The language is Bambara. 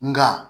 Nka